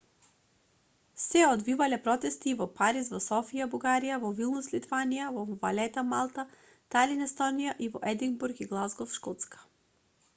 се одвивале протести и во париз во софија бугарија во вилнус литванија во валета малта талин естонија и во единбург и глазгов шкотска